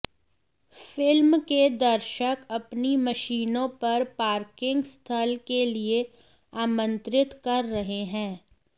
film के लिए दर्शक अपनी मशीनों पर पार्किंग स्थल के लिए आमंत्रित कर रहे हैं